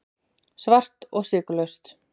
Svart og sykurlaust.